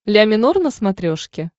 ля минор на смотрешке